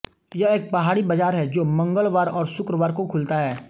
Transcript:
यह एक पहाडी बाजार है जो मंगलवार और शुक्रवार को खुलता है